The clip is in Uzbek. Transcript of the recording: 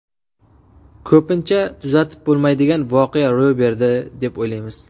Ko‘pincha tuzatib bo‘lmaydigan voqea ro‘y berdi, deb o‘ylaymiz.